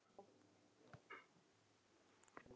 Líf og fjör.